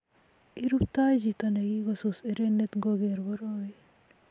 iruptoi chito nekikosus erenet ngogeer borowe